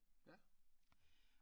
Ja